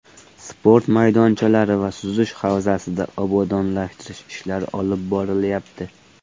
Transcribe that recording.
Sport maydonchalari va suzish havzasida obodonlashtirish ishlari olib borilyapti.